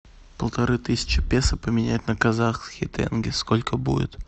полторы тысячи песо поменять на казахский тенге сколько будет